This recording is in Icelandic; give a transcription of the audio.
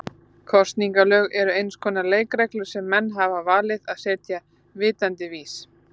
Kosningalög eru eins konar leikreglur sem menn hafa valið að setja vitandi vits.